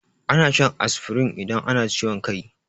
Ana shan asfirin idan ana ciwon kai.